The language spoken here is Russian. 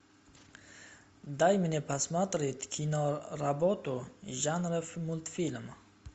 дай мне посмотреть киноработу жанра мультфильм